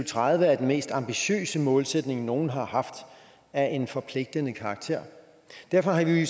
tredive er den mest ambitiøse målsætning nogen har haft af en forpligtende karakter derfor har vi